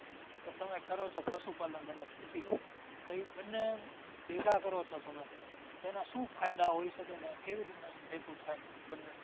કે તમે કરો છો પશુ પાલન અને ખેતી. તો એ બન્ને ભેગા કરો છો તમે તો એના શું ફાયદા હોય શકે ને કેવી રીતના એ ભેગું થાય બન્ને?